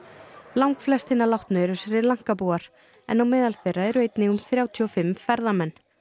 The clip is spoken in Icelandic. langflest hinna látnu eru Sri Lanka búar en á meðal þeirra eru einnig um þrjátíu og fimm ferðamenn